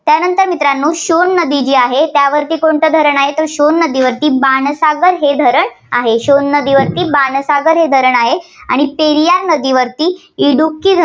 त्यानंतर मित्रांनो सोन नदी जी आहे त्यावरती कोणतं धरण आहे? तर सोन नदीवरती बाणसागर हे धरण आहे. आणि पेरियार नदीवरती इडुकी ध~